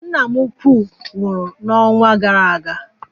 Nna m ukwuu nwụrụ n'ọnwa gara aga